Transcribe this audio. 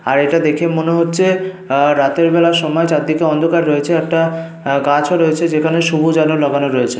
আর এটা দেখেই মনে হচ্ছে আহ রাতের বেলার সময়। চারদিকে অন্ধকার রয়েছে। একটা গাছও রয়েছে যেখানে সবুজ আলো লাগানো রয়েছে।